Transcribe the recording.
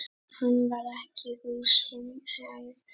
Hann var ekki húsum hæfur.